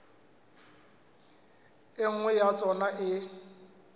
e nngwe ya tsona e